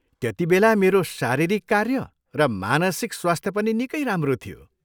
त्यतिबेला मेरो शारीरिक कार्य र मानसिक स्वास्थ्य पनि निकै राम्रो थियो।